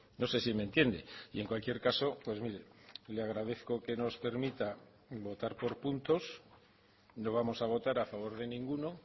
no sé si me entiende y en cualquier caso pues mire le agradezco que nos permita votar por puntos no vamos a votar a favor de ninguno